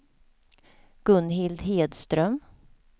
Gunhild Hedström